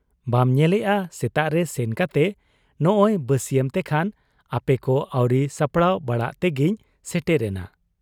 ᱵᱟᱢ ᱧᱮᱞᱮᱜ ᱟ ᱥᱮᱛᱟᱜᱨᱮ ᱥᱮᱱ ᱠᱟᱛᱮ ᱱᱚᱸᱜᱻᱚᱭ ᱵᱟᱹᱥᱤᱭᱟᱹᱢ ᱛᱮᱠᱷᱟᱱ ᱟᱯᱮᱠᱚ ᱟᱹᱣᱨᱤ ᱥᱟᱯᱲᱟᱟᱣ ᱵᱟᱲᱟᱜ ᱛᱮᱜᱮᱧ ᱥᱮᱴᱮᱨᱮᱱᱟ ᱾